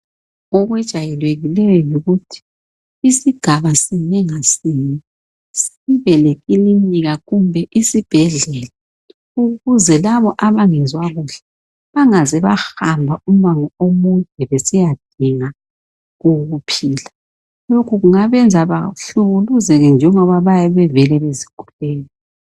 Okwejayelekileyo yikuthi isigabasinye ngasinye sibelekilinika, kumbe isibhedlela. Ukuze labo abangezwa kuhle, bangaze bahamba umango omude besiyadinga ukuphila. Lokhu kungabenza bahlukuluzeke, njengoba bayabe bevele bezigulela,